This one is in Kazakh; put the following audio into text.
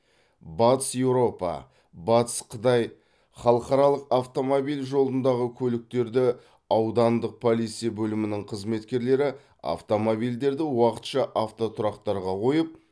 батыс еуропа батыс қытай халықаралық автомобиль жолындағы көліктерді аудандық полиция бөлімінің қызметкерлері автомобильдерді уақытша автотұрақтарға қойып